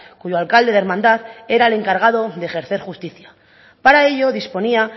cuyo alcalde de hermandad era el encargado de ejercer justicia para ello disponía